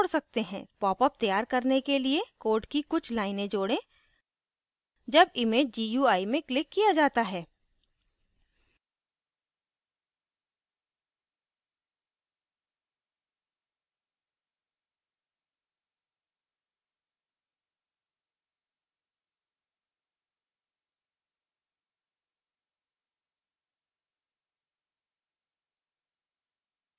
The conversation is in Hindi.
popup तैयार करने के लिए code की कुछ लाइनें code जब image gui में clicked किया जाता है